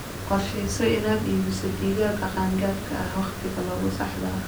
Qorshayso inaad iibiso digaagga qaan-gaadhka ah wakhtiga saxda ah.